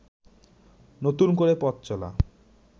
নতুন করে পথচলা